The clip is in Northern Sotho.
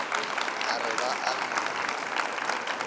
a re ba a mo